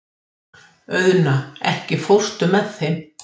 Auðna, ekki fórstu með þeim?